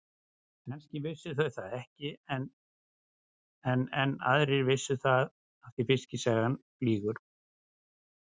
Kannski vissu þau það ekki enn en aðrir vissu það því fiskisagan flýgur.